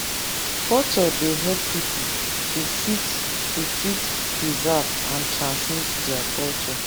culture dey help pipo to fit to fit preserve and transmit their culture